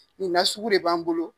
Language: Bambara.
Nin nasuku de b'an bolo.